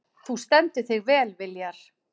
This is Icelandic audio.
Þú stendur þig vel, Viljar!